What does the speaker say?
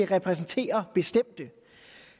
repræsentere bestemte